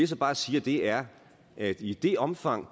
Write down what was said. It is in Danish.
så bare siger er at i det omfang